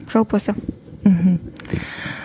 жалпы осы мхм